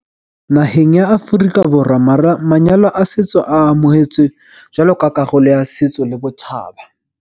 Naheng ya Aforika Borwa manyalo a setso a amohetswe jwalo ka karolo ya setso le botjhaba.